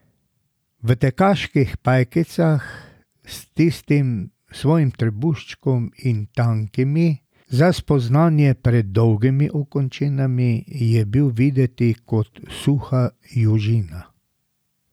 V tekaških pajkicah, s tistim svojim trebuščkom in tankimi, za spoznanje predolgimi okončinami je bil videti kot suha južina.